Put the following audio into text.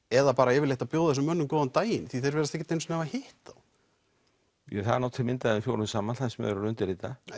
eða bara yfirleitt að bjóða þessum mönnum góðan daginn því þeir virðast ekki einu sinni hafa hitt þá það er nú til mynd af þeim fjórum saman þar sem þeir eru að undirrita